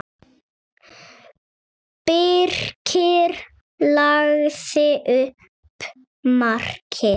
Birkir lagði upp markið.